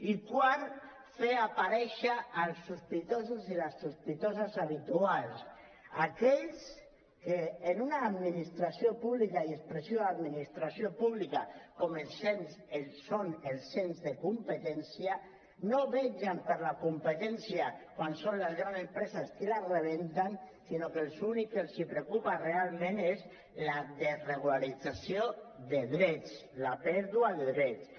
i quart fer aparèixer els sospitosos i les sospitoses habituals aquells que en una administració pública i expressió de l’administració pública com són els ens de competència no vetllen per la competència quan són les grans empreses qui la rebenten sinó que l’únic que els preocupa realment és la desregularització de drets la pèrdua de drets